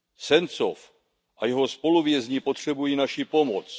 Sencov a jeho spoluvězni potřebují naši pomoc.